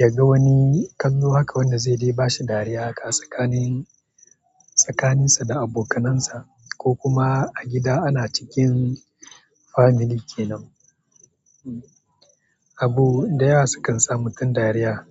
ya ga wani kallo haka wanda zai dai ba shi dariya haka tsakanin, tsakaninsa da abokanansa ko kuma a gida ana cikin family kenan. Abu da yawa sukan sa mutum dariya.